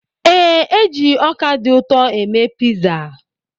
Ee, e ji ọkà dị ụtọ eme piza.